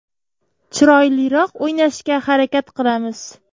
Chiroyliroq o‘ynashga harakat qilamiz.